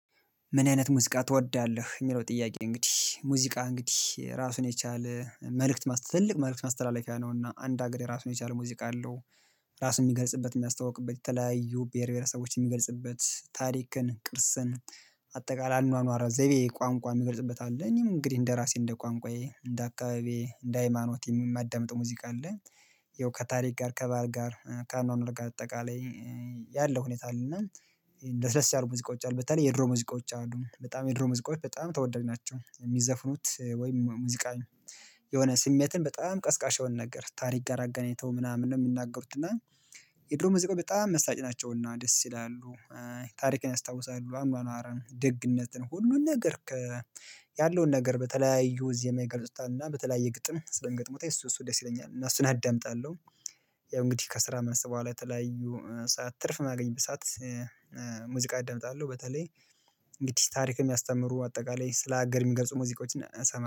ምን አይነት ሙዚቃ ትወዳለህ? የምለው ጥያቄ እንግዲህ ሙዚቃ እንግዲህ ራሱን የቻለ መልእክት ትልቅ መልእክት ማስተላለፊያ ነው እና አንድ ሀገሬ ራሱን የቻለ ሙዚቃ አለው። ራሱን የሚገልጽበት የሚያስተዋውቅበት የተለያዩ ብሄር ብሄሪሰቦችን የሚገልጽበት ታሪክን ቅርስን አጠቃላይ አኗኗር ዘይቤ ቋንቋ የምገልጽበት አለ። እኔም እንግዲህ እንደራሴ እንደቋንቋዬ እንደአካባቢዬ እንደሃይማኖትም የማደምጥ ሙዚቃ አለ። ያው ከታሪክ ጋር ከባህል ጋር ከአኗኗር ጋር አጠቃላይ ያለው ሁኔታ አለና። እንደ ለስለስ ያሉ ሙዚቃዎች አሉ በተለይ የድሮ ሙዚቃዎች አሉ በጣም የድሮ ሙዚቃዎች በጣም ተወዳጅ ናቸው። የሚዘፍኑት ወይም ሙዚቃ የሆነ ስሜትን በጣም ቀስቃሽ የሆነ ነገር ታሪክ ጋር አገናኝተው ምናምን ነው የሚናገሩት እና የድሮ ሙዚቃዎች በጣም መሳጭ ናቸውና ደስ ይላሉ። ታሪክን ያስታውሳሉ አኗኗርን ደግነትን ሁሉን ነገር ያለውን ነገር በተለያዩ ዜማ ይገልጹታል እና በተለያየ ግጥም ስለ ገጥሞት እሱ እሱ ደስ ይለኛል እና እሱን አዳምጣለሁ። ያው እንግዲህ ከስራ መልስ በኋላ የተለያዩ ሰዓት ትርፍ ማገኝ ሰዓት ሙዚቃ እደምጣለሁ። በተለይ እንግዲህ ታሪክ የሚያስተምሩ አጠቃላይ ስለ ሀገር የሚገልጹ ሙዚቃዎችን እሰማለሁ